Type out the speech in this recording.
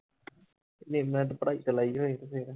ਜੇ ਇੰਨਾ ਪੜ੍ਹਾਈ ਤੇ ਲਾਈ ਹੋਏ ਤੇ ਫਿਰ